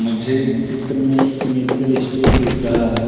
मुझे इस चित्र मे एक मेडिकल स्टोर दिख रहा है।